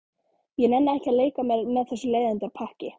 Ég nenni ekki að leika mér með þessu leiðindapakki.